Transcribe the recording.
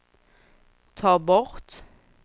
ta bort